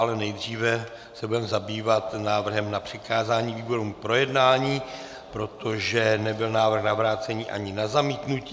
Ale nejdříve se budeme zabývat návrhem na přikázání výborům k projednání, protože nebyl návrh na vrácení ani na zamítnutí.